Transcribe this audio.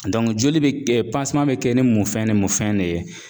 joli be be kɛ ni munfɛn ni munfɛn de ye.